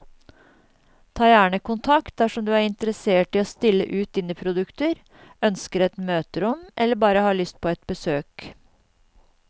Ta gjerne kontakt dersom du er interessert i å stille ut dine produkter, ønsker et møterom eller bare har lyst på et besøk.